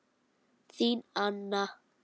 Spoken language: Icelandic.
Þín Anna.